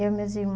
Eu e meus